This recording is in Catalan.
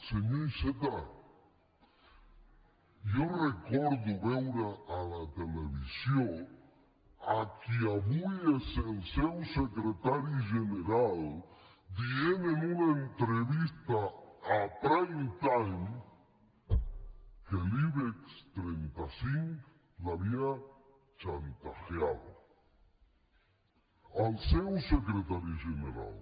senyor iceta jo recordo veure a la televisió a qui avui és el seu secretari general dient en una entrevista en prime time que l’ibex trenta cinc l’havia chantajeado el seu secretari general